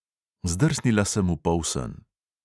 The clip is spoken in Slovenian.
Zdrsnila sem v polsen.